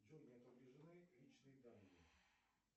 джой не отображены личные данные